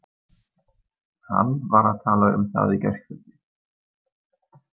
Hann var að tala um það í gærkveldi.